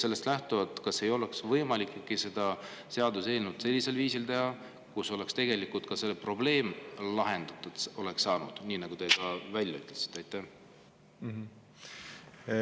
Sellest lähtuvalt küsin: kas ei oleks võimalik teha selline seaduseelnõu, kus see probleem saaks lahendatud nii, nagu te just välja ütlesite?